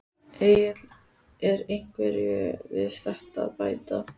Egill er einhverju við þetta að bæta?